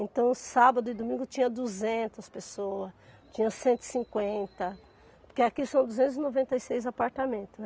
Então, sábado e domingo tinha duzentas pessoas, tinha cento e cinquenta, porque aqui são duzentos e noventa e seis apartamentos, né.